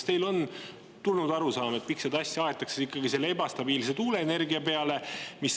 Kas teil on arusaam, miks seda asja aetakse ikkagi selle ebastabiilse tuuleenergia peale?